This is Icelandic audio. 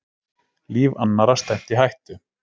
Lífi annarra stefnt í hættu